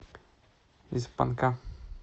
из панка